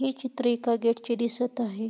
हे चित्र एका गेट चे दिसत आहे.